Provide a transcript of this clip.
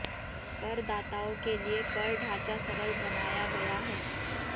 करदाताओं के लिए कर ढांचा सरल बनाया गया है